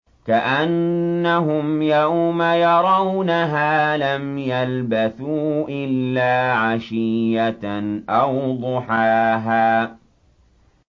كَأَنَّهُمْ يَوْمَ يَرَوْنَهَا لَمْ يَلْبَثُوا إِلَّا عَشِيَّةً أَوْ ضُحَاهَا